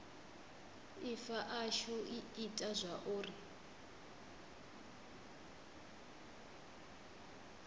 ifa ashu i ita zwauri